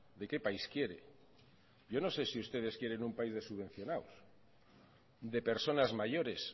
de qué país quiere yo no sé si ustedes quieren un país de subvencionados de personas mayores